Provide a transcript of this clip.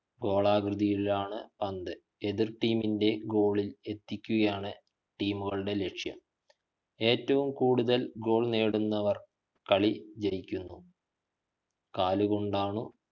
ഗോളാകൃതിയിലാണ് പന്ത് എതിർ team ഗോളിൽ എത്തുകയാണ് team കളുടെ ലക്ഷ്യം ഏറ്റവും കൂടുതൽ ഗോൾ നേടുന്നവർ കളി ജയിക്കുന്നു കാലുകൊണ്ടാണു